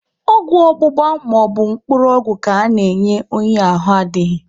Ọgwụ ọgbụgba maọbụ mkpụrụ ọgwụ ka ana-enye onye ahụ adịghị.